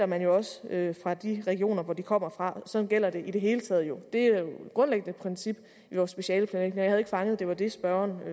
man jo også fra de regioner hvor de kommer fra sådan gælder det i det hele taget jo et grundlæggende princip i vores specialeplanlægning og ikke fanget at det var det spørgeren